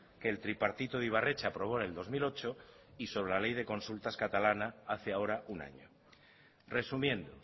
que el tripartito de ibarretxe aprobó en el dos mil ocho y sobre la ley de consulta catalana hace ahora un año resumiendo